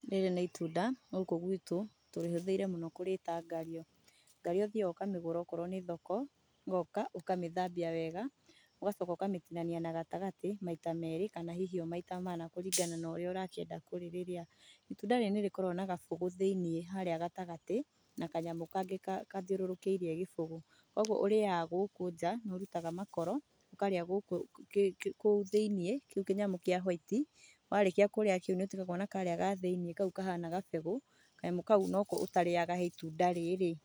Rĩrĩ nĩ itunda, gũkũ gwitũ tũrĩhũthĩire mũno kũrĩta ngario. Ngario ũthiaga ũkamĩgũra okorwo nĩ thoko, ũgoka ũkamĩthambia wega, ũgacoka ũkamĩtinania na gatagatĩ maita meerĩ kana hihi o maita mana kũringana na ũrĩa ũrakĩenda kũrĩrĩrĩa. Itunda rĩrĩ nĩrĩkoragwo na gabũgũ thĩinĩ harĩa gatagatĩ na kanyamũ kangĩ kathiũrũrũkĩirie gĩbũgũ koguo ũrĩaga gũkũ njaa, nĩũrutaga makoro, ũkarĩa gũkũ kũu thĩinĩ kĩu kĩnyamũ kĩa hwaiti, warĩkia kũrĩa kĩu niũtigagwo na karĩa ga thĩini kau kahana gabegũ, kanyamũ kau noko ũtarĩaga he itunda rĩrĩ.